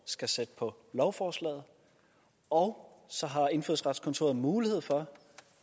skal sætte på lovforslaget og så har indfødsretskontoret mulighed for